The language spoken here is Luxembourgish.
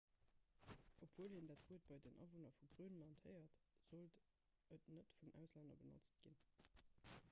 obwuel een dat wuert bei den awunner vu grönland héiert sollt et net vun auslänner benotzt ginn